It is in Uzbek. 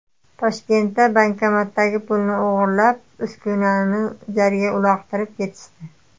Toshkentda bankomatdagi pulni o‘g‘irlab, uskunani jarga uloqtirib ketishdi.